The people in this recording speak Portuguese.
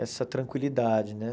Essa tranquilidade, né?